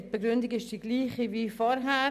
Die Begründung ist dieselbe wie vorher.